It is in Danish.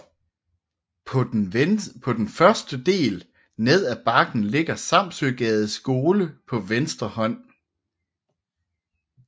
På den første del ned af bakken ligger Samsøgades Skole på venstre hånd